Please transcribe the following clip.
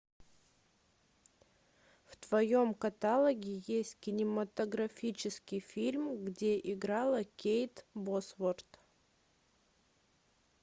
в твоем каталоге есть кинематографический фильм где играла кейт босворт